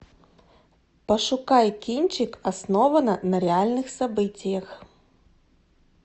пошукай кинчик основано на реальных событиях